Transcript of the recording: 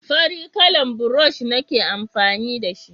farin kalan burosh nike amfani da shi